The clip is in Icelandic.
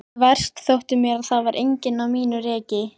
Verst þótti mér að það var enginn á mínu reki.